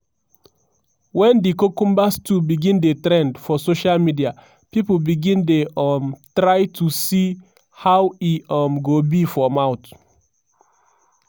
wen di cucumber stew begin dey trend for social media pipo begin dey um try am to see how e um go be for mouth.